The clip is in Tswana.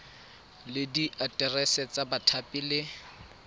le diaterese tsa bathapi le